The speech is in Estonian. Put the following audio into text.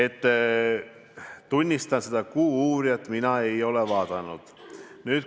Ma tunnistan, et Kuuuurijat" mina ei ole vaadanud.